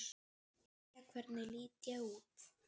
Jæja, hvernig lít ég út?